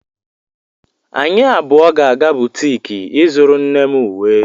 Anyị abụọ ga-aga butiki ịzụrụ nne m uwe